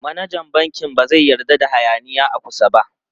Manajan bankin ba zai yarda da hayaniya a kusa ba.